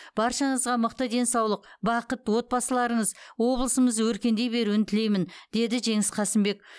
баршаңызға мықты денсаулық бақыт отбасыларыңыз облысымыз өркендей беруін тілеймін деді жеңіс қасымбек